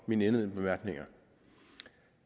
mine indledende bemærkninger